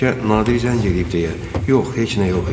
Bəlkə Nadir zəng eləyib deyə, yox, heç nə yox idi.